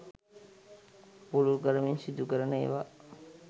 පුළුල් කරමින් සිදු කරන ඒවා.